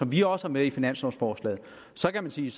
vi også har med i finanslovforslaget så kan man sige